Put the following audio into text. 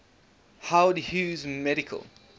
howard hughes medical